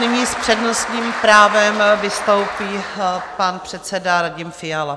Nyní s přednostním právem vystoupí pan předseda Radim Fiala.